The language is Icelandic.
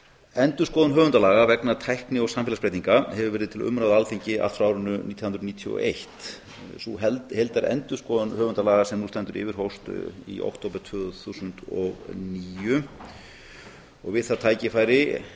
endurskoðun höfundalaga vegna tækni og samfélagsbreytinga hefur verið til umræðu á alþingi allt frá árinu nítján hundruð níutíu og eitt sú heildarendurskoðun höfundalaga sem nú stendur yfir hófst í október tvö þúsund og níu við það